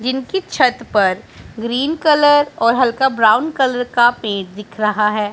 जिनकी छत पर ग्रीन कलर और हल्का ब्राउन कलर का पेड़ दिख रहा है।